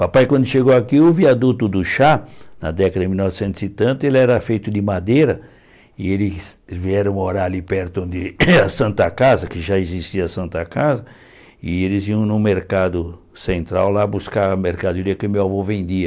Papai, quando chegou aqui, o viaduto do chá, na década de mil novecentos e tanto, ele era feito de madeira, e eles vieram morar ali perto de Santa Casa, que já existia a Santa Casa, e eles iam no mercado central lá buscar a mercadoria que o meu avô vendia.